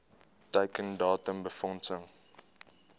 teiken datum befondsing